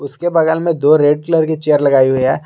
उसके बगल में दो रेड कलर की चेयर लगाई हुई है।